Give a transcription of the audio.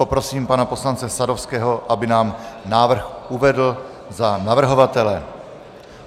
Prosím pana poslance Sadovského, aby nám návrh uvedl za navrhovatele.